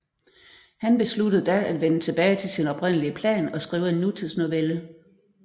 Han besluttede da at vende tilbage til sin oprindelige plan og skrive en nutidsnovelle